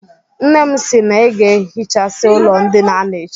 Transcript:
Nne m si na ị ga-ehichasi ụlọ ndịna a echi